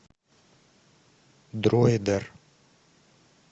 дройдер